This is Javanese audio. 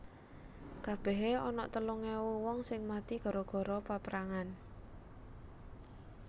Kabehe onok telung ewu wong sing mati gara gara peprangan